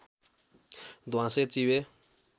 ध्वाँसे चिबे